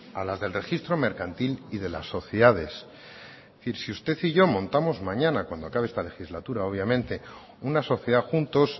a las del registro mercantil y de las sociedades es decir si usted y yo montamos mañana cuando acabe esta legislatura obviamente una sociedad juntos